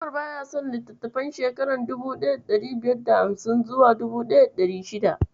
Umar baya son litattafan shekarun 1550s zuwa 1600s.